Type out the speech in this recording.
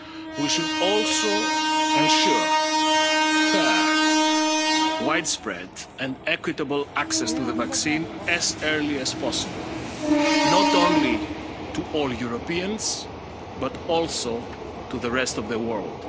ahead of us. We should also ensure fair, widespread and equitable access to the vaccine as early as possible, not only to all Europeans, but also to the rest of